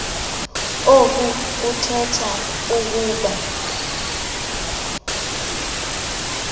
oku kuthetha ukuba